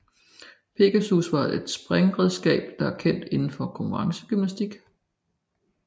Pegasus er et springredskab der er kendt indenfor konkurrencegymnastik